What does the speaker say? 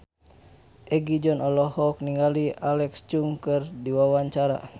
Egi John olohok ningali Alexa Chung keur diwawancara